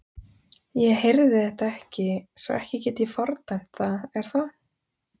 Ég heyrði þetta ekki svo ekki get ég fordæmt það er það?